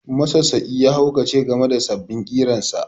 Masassaƙi ya haukace game da sabbin ƙirarsa